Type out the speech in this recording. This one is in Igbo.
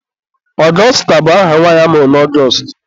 Augusta bụ aha nwanyị amụrụ na Ọgọstụ.